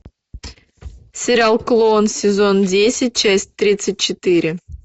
сериал клон сезон десять часть тридцать четыре